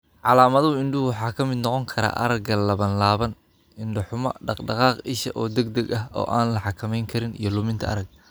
Calaamadaha indhuhu waxa ka mid noqon kara aragga labanlaaban, indho-xumo, dhaq-dhaqaaq isha oo degdeg ah oo aan la xakamayn karin, iyo luminta aragga.